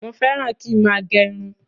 Mo féràn kín máa gerun